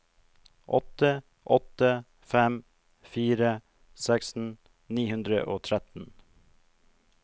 åtte åtte fem fire seksten ni hundre og tretten